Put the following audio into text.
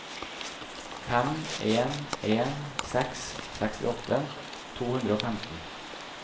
fem en en seks sekstiåtte to hundre og femten